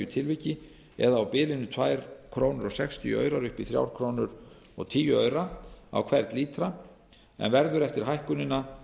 tilviki það er á bilinu tvö komma sextíu til þrjú komma tíu krónur á hvern lítra en verður eftir hækkunina